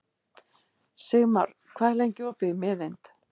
Sigmar, hvað er lengi opið í Miðeind?